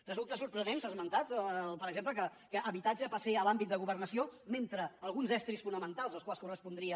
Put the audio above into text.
resulta sorprenent s’ha esmentat per exemple que habitatge passi a l’àmbit de governació mentre que alguns estris fonamentals als quals correspondria